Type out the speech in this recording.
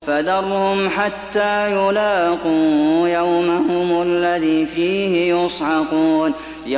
فَذَرْهُمْ حَتَّىٰ يُلَاقُوا يَوْمَهُمُ الَّذِي فِيهِ يُصْعَقُونَ